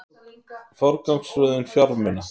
Forgangsröðun fjármuna